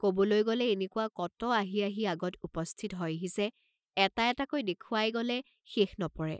কবলৈ গলে এনেকুৱা কত আহি আহি আগত উপস্থিত হয়হি যে, এটা এটাকৈ দেখুৱাই গলে শেষ নপৰে।